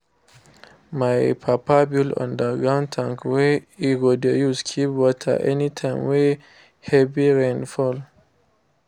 my papa build underground tank wey e go dey use keep water any time wey heavy rain fall